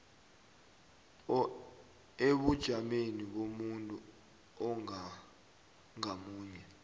ebujameni bomuntu ngamunye